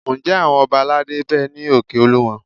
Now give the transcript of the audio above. Ǹjẹ́ àwọn ọba aládé ń bẹ ní òkè Olúmọ?